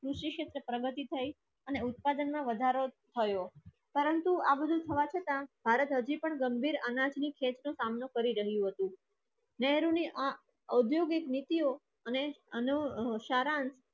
પ્રગતિ થઈ અને ઉત્પાદનમાં વધારો થયો. પરંતુ આ બધું થવા છતાં ભારત હજી પણ ગંભીર અનાજની સામનો કરી રહ્યું હતું. નહેરુ ને ઔદ્યોગિક નીતિયોં અને અનેશરણ